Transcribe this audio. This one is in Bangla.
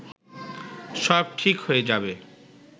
সব ঠিক হয়ে যাবে